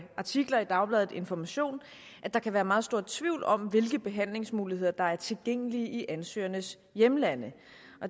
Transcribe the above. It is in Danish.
artikler i dagbladet information at der kan være meget stor tvivl om hvilke behandlingsmuligheder der er tilgængelige i ansøgernes hjemlande